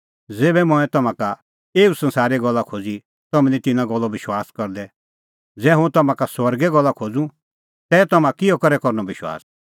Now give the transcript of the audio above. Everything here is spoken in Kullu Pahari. ज़ेभै मंऐं तम्हां का एऊ संसारे गल्ला खोज़ी तम्हैं निं तिन्नां गल्लो विश्वास करदै ज़ै हुंह तम्हां का स्वर्गे गल्ला खोज़ूं तै तम्हां किहअ करै करनअ विश्वास